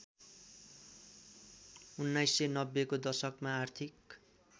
१९९०को दशकमा आर्थिक